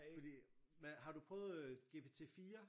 Fordi hvad har du prøvet GPT4?